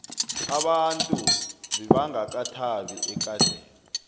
abantu bebangakathabi ekadeni